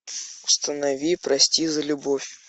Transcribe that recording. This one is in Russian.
установи прости за любовь